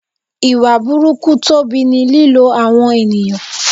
Ìwà burúkú Tobi ni lílo àwọn ènìyàn.